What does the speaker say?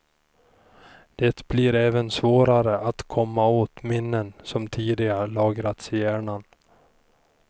Det blir även svårare att komma åt minnen som tidigare lagrats i hjärnan.